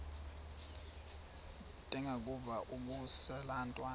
ndengakuvaubuse laa ntwana